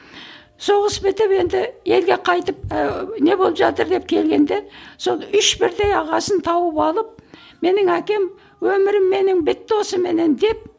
соғыс бітіп енді елге қайтып ыыы не болып жатыр деп келгенде сол үш бірдей ағасын тауып алып менің әкем өмірім менің бітті осыменен деп